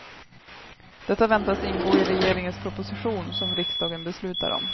Detta väntas ingå i regeringens proposition, som riksdagen beslutar om.